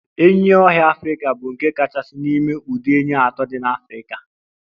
Enyí ọhịa Africa bụ nke kachasị n'ime ụdị enyí atọ dị n'Afrika.